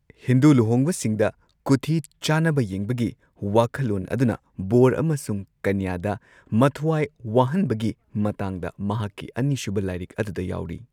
ꯍꯤꯟꯗꯨ ꯂꯨꯍꯣꯡꯕꯁꯤꯡꯗ ꯀꯨꯊꯤ ꯆꯥꯅꯕ ꯌꯦꯡꯕꯒꯤ ꯋꯥꯈꯜꯂꯣꯟ ꯑꯗꯨꯅ ꯕꯣꯔ ꯑꯃꯁꯨꯡ ꯀꯩꯅ꯭ꯌꯥꯗ ꯃꯊ꯭ꯋꯥꯏ ꯋꯥꯍꯟꯕꯒꯤ ꯃꯇꯥꯡꯗ ꯃꯍꯥꯛꯀꯤ ꯑꯅꯤꯁꯨꯕ ꯂꯥꯏꯔꯤꯛ ꯑꯗꯨꯗ ꯌꯥꯎꯔꯤ꯫